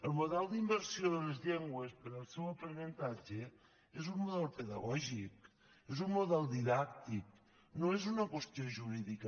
el model d’immersió de les llengües per al seu aprenentatge és un model pedagògic és un model didàctic no és una qüestió jurídica